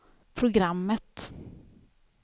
programmet